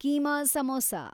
keema samosa